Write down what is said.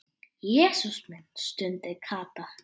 Jesús minn stundi Kata.